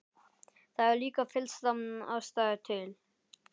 Það er líka fyllsta ástæða til.